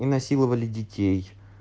и насиловали детей